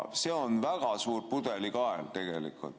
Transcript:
See on väga suur pudelikael.